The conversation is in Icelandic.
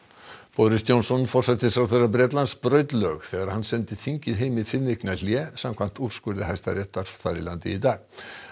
boris Johnson forsætisráðherra Bretlands braut lög þegar hann sendi þingið heim í fimm vikna hlé samkvæmt úrskurði hæstaréttar þar í landi í dag